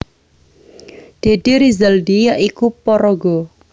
Deddy Rizaldi ya iku paraga